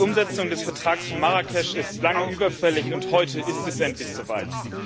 Die Umsetzung des Vertrags von Marrakesch ist lange überfällig, und heute ist es endlich so weit.